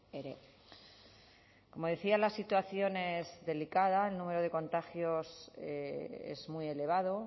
ere como decía la situación es delicada el número de contagios es muy elevado